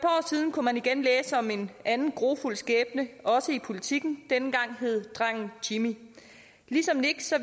kunne man igen læse om en anden grufuld skæbne også i politiken denne gang hed drengen jimmy ligesom nick